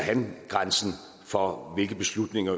grænsen for hvilke beslutninger